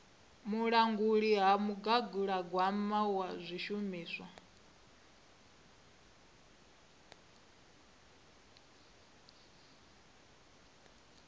vhulanguli ha mugaganyagwama na zwishumiswa